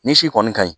Ni si kɔni ka ɲi